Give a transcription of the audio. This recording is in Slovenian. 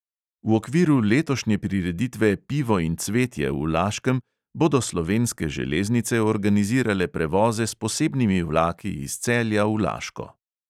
V okviru letošnje prireditve pivo in cvetje v laškem bodo slovenske železnice organizirale prevoze s posebnimi vlaki iz celja v laško.